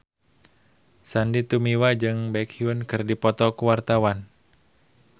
Sandy Tumiwa jeung Baekhyun keur dipoto ku wartawan